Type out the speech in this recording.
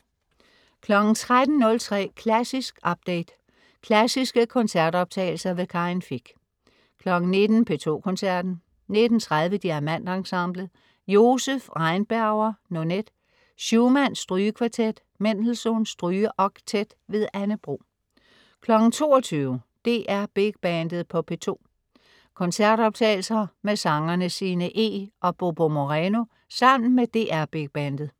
13.03 Klassisk update. Klassiske koncertoptagelser. Karin Fich 19.00 P2 Koncerten. 19.30 DiamantEnsemblet. Joseph Rheinberger: Nonet. Schumann: Strygekvartet. Mendelssohn: Strygeoktet. Anne Bro 22.00 DR Big Bandet på P2. Koncertoptagelse med sangerne Sinne Eeg og Bobo Moreno sammen med DR Big Bandet